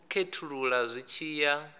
u khethulula zwi tshi ya